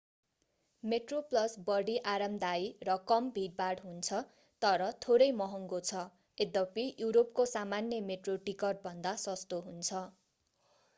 Metro Plus बढी आरामदायी र कम भीडभाड हुन्छ तर थोरै महङ्गो छ यद्यपि युरोपको सामान्य मेट्रो टिकट भन्दा सस्तो हुन्छ